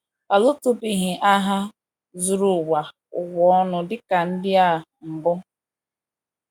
A lụtụbeghị agha zuru ụwa ụwa ọnụ dị ka ndị a mbụ.